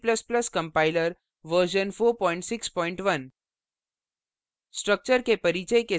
gcc और g ++ compiler version 461